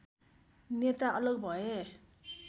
नेता अलग भए